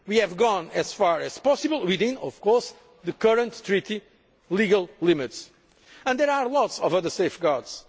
We have gone as far as possible within, of course, the current Treaty legal limits and there are lots of other safeguards.